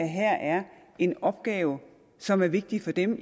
her er en opgave som er vigtig for dem